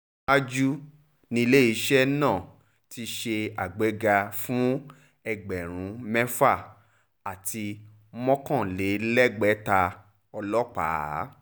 ṣáájú níléeṣẹ́ náà ti ṣe àgbéga fún ẹgbẹ̀rún mẹ́fà àti mọ́kànlélẹ́gbẹ̀ta ọlọ́pàá